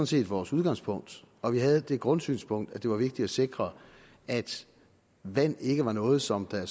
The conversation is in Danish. set vores udgangspunkt og vi havde det grundsynspunkt at det var vigtigt at sikre at vand ikke var noget som der